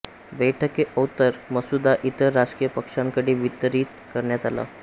बैठकेओत्तर मसुदा इतर राजकीय पक्षांकडे वितरीत करण्यात आला